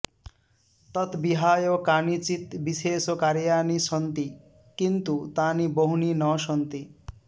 तत् विहाय कानिचित् विशेषकार्याणि सन्ति किन्तु तानि बहूनि न सन्ति